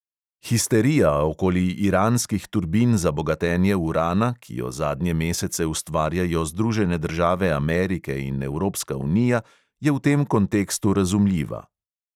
Histerija okoli iranskih turbin za bogatenje urana, ki jo zadnje mesece ustvarjajo združene države amerike in evropska unija, je v tem kontekstu razumljiva.